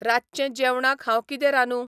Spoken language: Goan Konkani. रातचें जेवणाक हांव कितें रांदूं?